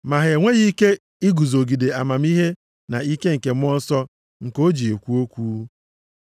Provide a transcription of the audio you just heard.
Ma ha enweghị ike iguzogide amamihe na ike nke Mmụọ Nsọ nke o ji ekwu okwu.